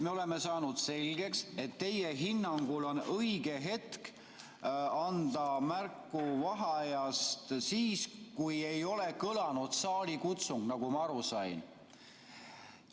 Me oleme saanud selgeks, et teie hinnangul on õige hetk anda märku vaheajast siis, kui ei ole kõlanud saalikutsungit, nagu ma aru sain.